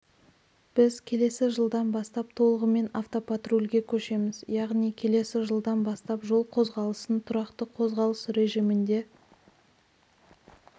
біз келесі жылдан бастап толығымен автопатрульге көшеміз яғни келесі жылдан бастап жол қозғалысын тұрақты қозғалыс режимінде